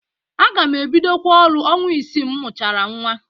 Aga m ebidokwa ọrụ ọnwa isii m mụchara nnwa.